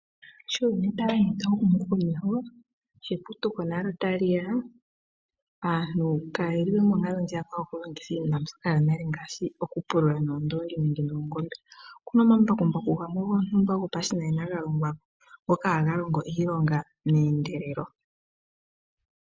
Sho uuyuni tawu ende tawu humu komeho, sho eputuko nalyo tali ya, aantu kaye li we monkalo ndjiyaka yokulongitha iinima mbyoka yonale ngaashi okupulula noondoongi nenge noongombe. Oku na omambakumbaku gamwe gontumba gopashinanena ga longwa ko ngoka haga longo iilonga meendelelo.